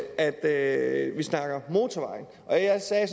er at vi snakker motorveje og jeg sagde